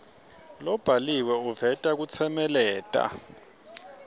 lobhaliwe uveta kutsemeleta